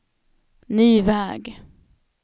ny väg